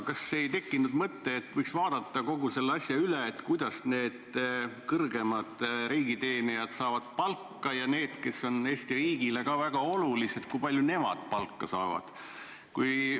Kas sul ei tekkinud mõtet, et võiks vaadata kogu selle asja üle: kuidas need kõrgemad riigiteenijad palka saavad ja muud inimesed, kes on Eesti riigile ka väga olulised, kui palju nemad palka saavad?